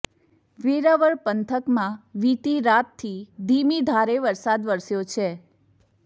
વેરાવળ પંથકમાં વીતી રાતથી ધીમી ધારે વરસાદ વરસ્યો છે